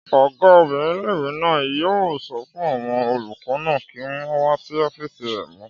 Ọgá obìnrin ilé-ìwé náà yóò sọ fún àwọn olùkọ́ náà kí wọ́n wá sí ọ́fìsì rẹ̀ mọ́